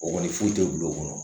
O kɔni foyi tɛ bil'o kɔnɔ